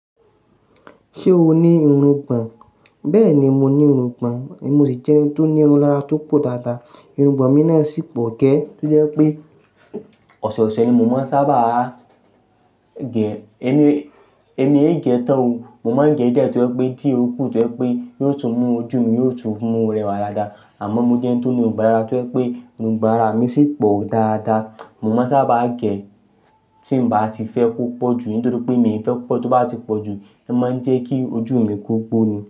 Ṣé o ní irungbo? Bẹ́ẹ̀ni, mo ní irungbo, èmi ò sì jẹ́ ẹni tó ní irun lára tó pọ̀ dáadáa. Irun gbọ̀n mi náà sì pọ̀ gẹ́, tó jẹ́ pé ọ̀sọ̀ọ̀sẹ̀ ni mo máa ń sábà gé èmi, èmi ń gé e tán o, mo máa ń gé ẹ̀ dá tó pé dí ó kù, tó pé yóò tún mú ojú mi yóò tún mú rẹwà dáadáa. Àmọ́ mo jẹ́ ẹni tí ó ní irungbon daadaa tó pé irungbon ara mi sì pọ̀ dáadáa. Mo máa ń sábà gé ẹ́ tí n bá ti fẹ́ kó pọ̀jù nítorí pé èmi fẹ́ kó pọ̀, tó bá ti pọ̀jù, ẹ máa ń jẹ́ kí ojú mi ko gbo ni.